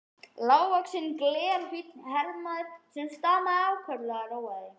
Lágvaxinn, glerfínn herramaður, sem stamaði ákaflega, róaði